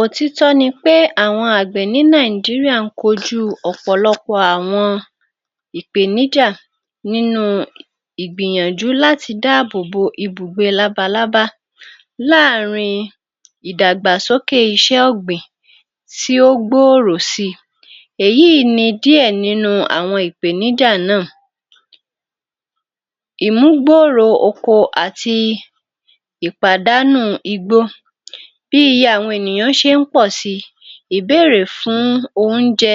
Òtítọ́ ni pé àwọn àgbẹ̀ ní Nàìjíríà ń kojú ọ̀pọ̀lọpọ̀ àwọn ìpèníjà nínú ìgbìyànjú láti dáàbòbò ibùgbé labalábá láàárin ìdàgbàsókè iṣẹ́ ọ̀gbìn tí ó gbòòrò si. Èyíì ni díẹ̀ nínú àwọn ìpèníjà náà; Ìmúgbòòrò oko àti ìpàdánù igbó: Bí àwọn ènìyàn ṣe ń pọ̀ si, ìbéèrè fún oúnjẹ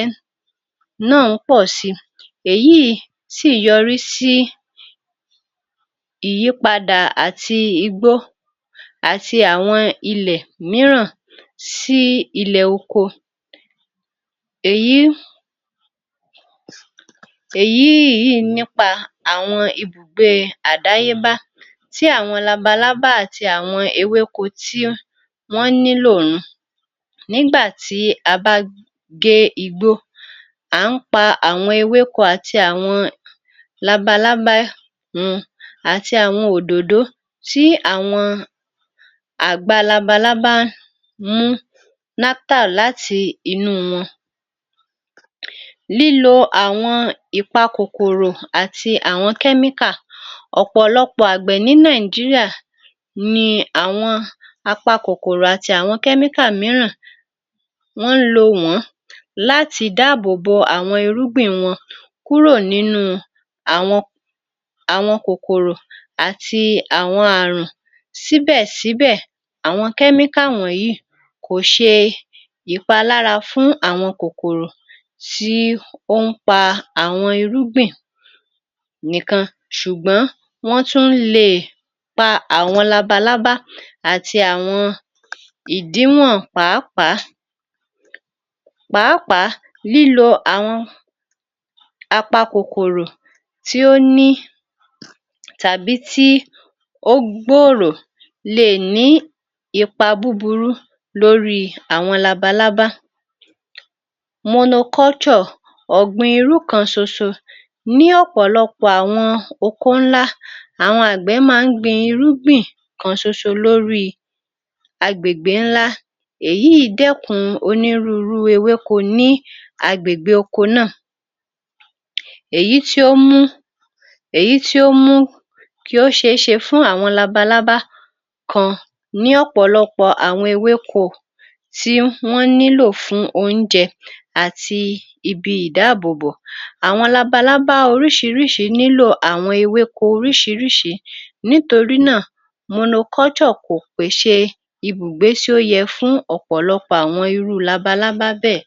náà ń pọ̀ si, èyíì sí yọrí sí ìyípadà àti igbó àti àwọn ilè míràn sí ilẹ̀ oko. Èyí, èyí yìí nípa àwọn ibùgbé àdáyébá tí àwọn labalábá àti àwọn ewéko tí wọ́n nílò òhun nígbà tí a bá gé igbó, à ń pa àwọn ewéko àti àwọn labalábá wọn àti àwọn òdòdó tí àwọn àgbà labalábá mú nectar láti inú wọn. Lílo àwọn ìpa-kòkòrò àti àwọn kẹ́míkà: Ọ̀pọ̀lọpọ̀ àgbẹ̀ ní Nàìjíríà ni àwọn apa-kòkòrò àti àwọn kẹ́míkà mìíràn wọ́n ń lò wọ́n láti dáàbòbò àwọn irúgbìn wọn kúrò nínú àwọn kòkòrò àti àwọn ààrùn, síbẹ̀síbẹ̀ àwọn kẹ́míkà wọ̀nyìí kò ṣe ìpalára fún àwọn kòkòrò tí ó ń pa àwọn irúgbìn nìkan ṣùgbọ́n wọ́n tún le pa àwọn labalábá àti àwọn ìdíwọ̀n pàápàá. Pàápàá lílo àwọn apakòkòro tí ó ní tàbí tí ó gbòòrò le è ní ipa búburú lórí àwọn labalábá. Monoculture ọ̀gbìn irú kan ṣosọ: Ní ọ̀pọ̀lọpọ̀ àwọn oko ńlá, àwọn àgbẹ̀ máa ń gbin irúgbìn kan ṣoṣo lórí agbègbè ńlá, eyìí dẹ́kun onírúurú ewéko ní agbègbè oko náà, èyí tí ó mú, èyí tí ó mú kí ó ṣeéṣe fún àwọn labalábá kan ní ọ̀pọ̀lọpọ̀ àwọn ewéko tí wọ́n nílò fún oúnjẹ àti ibi ìdáàbòbò. Àwọn labalábá oriṣiriṣi nílò àwọn ewéko oriṣiriṣi nítorí náà, monoculture kò pèṣè ibùgbé tí ó yẹ fún ọ̀pọ̀lọpọ̀ àwọn irú labalábá bẹ́ẹ̀.